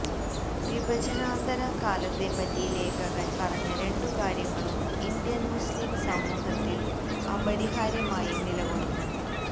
വിഭജനാനന്തര കാലത്തെപ്പറ്റി ലേഖകന് പറഞ്ഞ രണ്ടു കാര്യങ്ങളും ഇന്ത്യന് മുസ്ലിം സമൂഹത്തില് അപരിഹാര്യമായി നിലകൊള്ളുന്നു